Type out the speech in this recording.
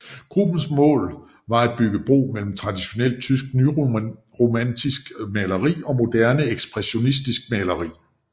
Gruppens mål var at bygge bro mellem tradionelt tysk nyromantisk maleri og moderne ekspressionistisk maleri